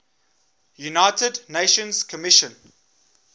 united nations commission